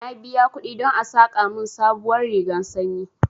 Na biya kuɗi don a saƙa mun sabuwar rigar sanyi